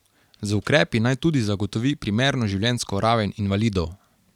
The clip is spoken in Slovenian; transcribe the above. Z ukrepi naj tudi zagotovi primerno življenjsko raven invalidov.